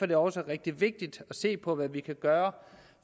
det også rigtig vigtigt at se på hvad vi kan gøre